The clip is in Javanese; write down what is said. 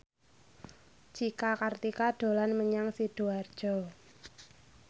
Cika Kartika dolan menyang Sidoarjo